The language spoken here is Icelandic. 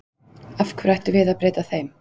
Af hverju ættum við að breyta þeim?